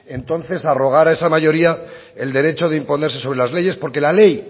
entonces arrogar a esa mayoría el derecho de imponerse sobre las leyes porque la ley